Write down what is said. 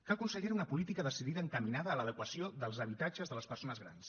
cal consellera una política decidida encaminada a l’adequació dels habitatges de les persones grans